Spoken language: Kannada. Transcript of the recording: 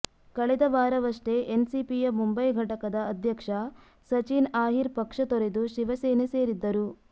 ಕಳೆದ ವಾರವಷ್ಟೇ ಎನ್ಸಿಪಿಯ ಮುಂಬೈ ಘಟಕದ ಅಧ್ಯಕ್ಷ ಸಚಿನ್ ಆಹಿರ್ ಪಕ್ಷ ತೊರೆದು ಶಿವಸೇನೆ ಸೇರಿದ್ದರು